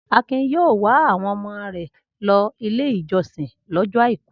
Akin yóò wa àwọn ọmọ rẹ̀ lọ Ilé-ìjọsìn lọ́jọ́ àìkú.